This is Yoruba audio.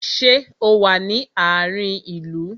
Ṣé o wá sí àárin ìlú?